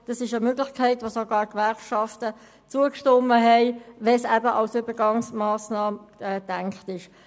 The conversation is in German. Das ist eine Möglichkeit, welcher sogar die Gewerkschaften zugestimmt haben, wenn sie eben als Übergangsmassnahme angesehen wird.